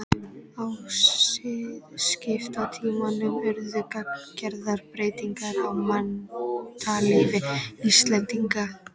Á siðskiptatímanum urðu gagngerðar breytingar á menntalífi Íslendinga.